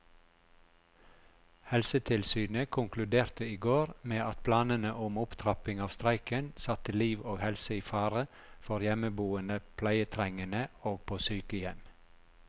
Helsetilsynet konkluderte i går med at planene om opptrapping av streiken satte liv og helse i fare for hjemmeboende pleietrengende og på sykehjem.